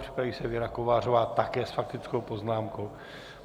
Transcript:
Připraví se Věra Kovářová, také s faktickou poznámkou.